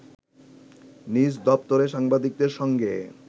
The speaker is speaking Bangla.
নিজ দপ্তরে সাংবাদিকদের সঙ্গে